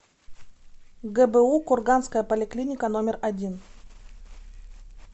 гбу курганская поликлиника номер один